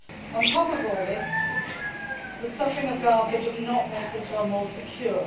On top of all this, the suffering of Gaza does not make Israel more secure.